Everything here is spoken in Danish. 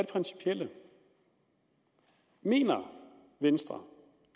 principielle mener venstre